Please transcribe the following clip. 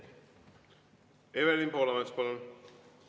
Evelin Poolamets, palun!